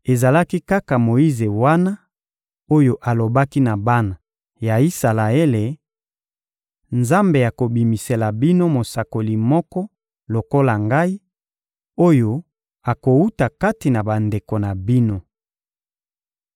Ezalaki kaka Moyize wana oyo alobaki na bana ya Isalaele: «Nzambe akobimisela bino mosakoli moko lokola ngai, oyo akowuta kati na bandeko na bino.»